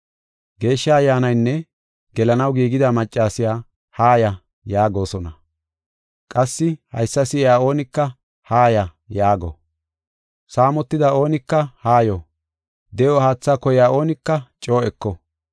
Geeshsha Ayyaanaynne gelanaw giigida maccasiya, “Haaya” yaagosona. Qassi haysa si7iya oonika, “Haaya” yaago. Saamotida oonika haayo; de7o haatha koyiya oonika coo eko.